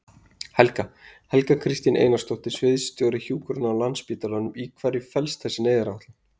Helga: Helga Kristín Einarsdóttir, sviðsstjóri hjúkrunar á Landspítalanum, í hverju felst þessi neyðaráætlun?